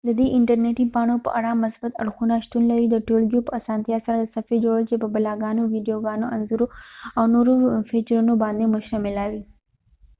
ددې انټر نیټی پاڼو په اړه مثبت اړخونه شتون لري ، د ټولګیوپه اسانتیا سره د صفحی جوړول چې په بلاګونو، ويديوګانو ،انځورونو او نورو فیچرونو باندي مشتمله وي